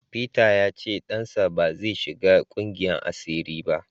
Peter ya ce dansa ba zai shiga kungiyar asiri ba.